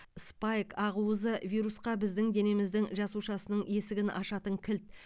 спайк ақуызы вирусқа біздің денеміздің жасушасының есігін ашатын кілт